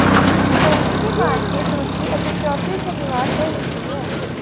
ਗਰਮੀ ਦੀ ਮਾਰਕੀਟ ਦੂਜੀ ਅਤੇ ਚੌਥੀ ਸ਼ਨੀਵਾਰ ਤੇ ਹੁੰਦੀ ਹੈ